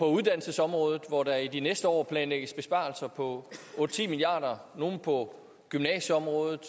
uddannelsesområdet hvor der i de næste år planlægges besparelser på otte ti milliard kr nogle på gymnasieområdet